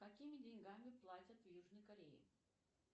какими деньгами платят в южной корее